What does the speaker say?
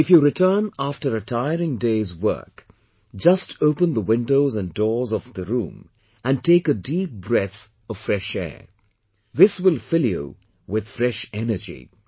If you return after a tiring day's work, just open the windows and doors of the room and take a deep breath of fresh air this will fill you with fresh energy